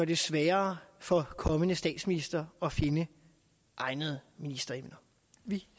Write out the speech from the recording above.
det sværere for kommende statsministre at finde egnede ministeremner vi